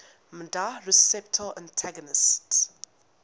nmda receptor antagonists